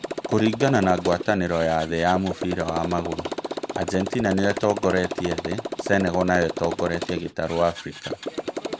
Kuringana na ngwatanĩro ya Thĩ ya mũbira wa magũrũ: Argentina nĩyo ĩtongoretie thĩ, Senegal nayo ĩtongoretie gitaru Abirika